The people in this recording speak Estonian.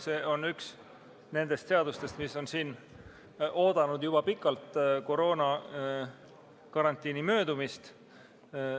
See on üks nendest seadustest, mis on oodanud juba pikalt koroonakarantiini möödumist.